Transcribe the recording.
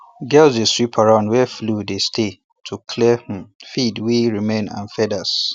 girls dey sweep around where flow dey stay to clear um feed wey remain and feathers